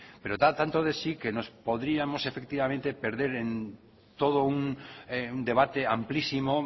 pero da tanto de sí que nos podríamos efectivamente perder en todo un debate amplísimo